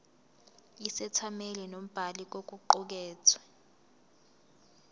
isethameli nombhali kokuqukethwe